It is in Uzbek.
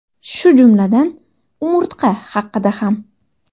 Shu jumladan umurtqa haqida ham.